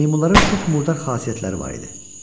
Meymunların çox murdar xasiyyətləri var idi.